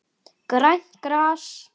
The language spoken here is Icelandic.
Grænt gras.